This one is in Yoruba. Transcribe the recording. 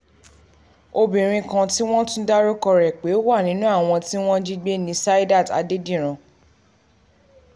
obìnrin kan tí wọ́n tún dárúkọ ẹ̀ pé ó wà nínú um àwọn tí wọ́n jí gbé ní saidat um adédìran